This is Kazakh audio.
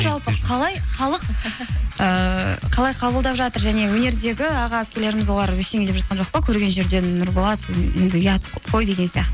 жалпы қалай халық ыыы қалай қабылдап жатыр және өнердегі аға әпкелеріміз олар ештеңе деп жатқан жоқ па көрген жерден нұрболат енді ұят қой деген